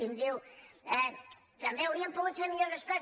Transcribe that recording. i em diu també hau·rien pogut fer millor les coses